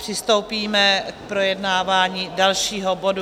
Přistoupíme k projednávání dalšího bodu.